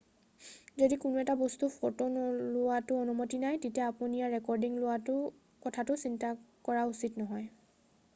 যদি কোনো এটা বস্তুৰ ফ'টো লোৱাটো অনুমতি নাই তেতিয়া আপুনি ইয়াৰ ৰেকৰ্ডিং লোৱাৰ কথাটো চিন্তা কৰা উচিত নহয়